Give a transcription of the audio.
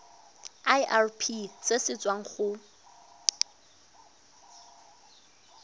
irp se se tswang go